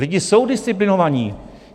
Lidi jsou disciplinovaní.